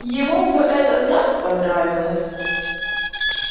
ему бы это так понравилось